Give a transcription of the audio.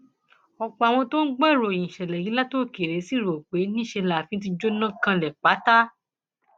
ọpọ àwọn tó ń gbọ ìròyìn ìṣẹlẹ yìí látòkèèrè ṣì rò pé níṣẹ láàfin ti jóná kanlẹ pátá